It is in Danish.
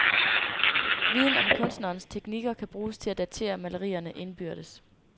Viden om kunstnerens teknikker kan bruges til at datere malerierne indbyrdes.